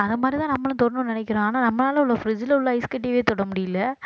அந்த மாதிரிதான் நம்மளும் தொடணும்னு நினைக்கிறோம் ஆனா நம்மளால உள்ள fridge ல உள்ள ஐஸ் கட்டிவே தொட முடியலை